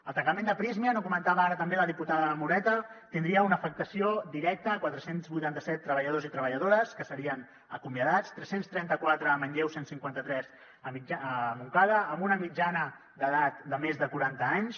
el tancament de prysmian ho comentava ara també la diputada moreta tindria una afectació directa a quatre cents i vuitanta set treballadors i treballadores que serien acomiadats tres cents i trenta quatre a manlleu cent i cinquanta tres a montcada amb una mitjana d’edat de més de quaranta anys